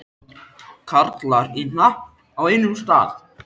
Karlar í hnapp á einum stað.